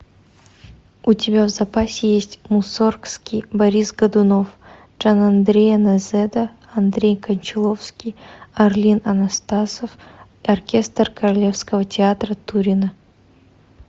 у тебя в запасе есть мусоргский борис годунов джанандреа нозеда андрей кончаловский орлин анастасов оркестр королевского театра турина